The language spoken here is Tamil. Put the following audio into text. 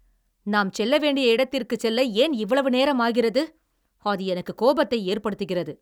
நாம் செல்ல வேண்டிய இடத்திற்குச் செல்ல ஏன் இவ்வளவு நேரம் ஆகிறது, அது எனக்கு கோபத்தை ஏற்படுத்துகிறது!